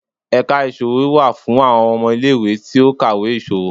ẹka isòwó wá fún awọn ọmọ ile-iwe ti o kawé iṣowo.